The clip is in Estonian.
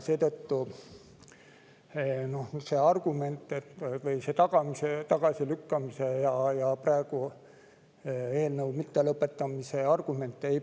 Seetõttu see tagasilükkamise ja eelnõu mittelõpetamise argument ei päde.